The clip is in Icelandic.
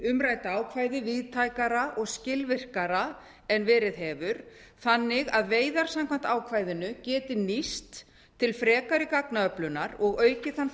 umrædda ákvæði víðtækara og skilvirkara en verið hefur þannig að veiðar samkvæmt ákvæðinu geti nýst til frekari gagnaöflunar og aukið þann